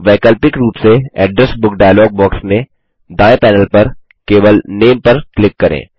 वैकल्पिक रूप से एड्रेस बुक डायलॉग बॉक्स में दायें पैनल पर केवल नामे पर क्लिक करें